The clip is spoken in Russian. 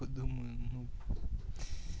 подумаю ну